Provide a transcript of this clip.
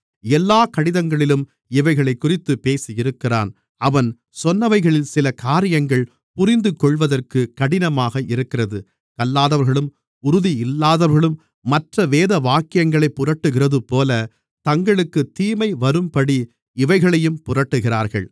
எல்லாக் கடிதங்களிலும் இவைகளைக்குறித்துப் பேசியிருக்கிறான் அவன் சொன்னவைகளில் சில காரியங்கள் புரிந்துகொள்வதற்கு கடினமாக இருக்கிறது கல்லாதவர்களும் உறுதி இல்லாதவர்களும் மற்ற வேதவாக்கியங்களைப் புரட்டுகிறதுபோலத் தங்களுக்குத் தீமை வரும்படி இவைகளையும் புரட்டுகிறார்கள்